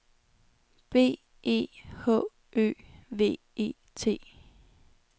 B E H Ø V E T